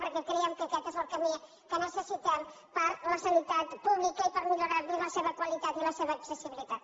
perquè creiem que aquest és el camí que necessitem per a la sanitat pública i per a millorar·ne la seva qualitat i la seva accessibilitat